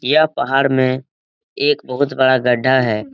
यह पहाड़ में एक बहुत बड़ा गड्ढा है।